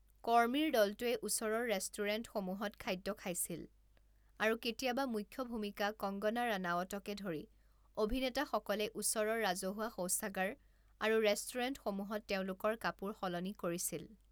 কৰ্মীৰ দলটোৱে ওচৰৰ ৰেষ্টুৰেণ্টসমূহত খাদ্য খাইছিল, আৰু কেতিয়াবা মুখ্য ভূমিকা কংগনা ৰানাৱটকে ধৰি অভিনেতাসকলে ওচৰৰ ৰাজহুৱা শৌচাগাৰ আৰু ৰেষ্টুৰেণ্টসমূহত তেওঁলোকৰ কাপোৰ সলনি কৰিছিল।